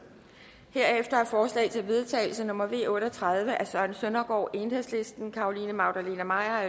herefter er forslag til vedtagelse nummer v otte og tredive af søren søndergaard carolina magdalene maier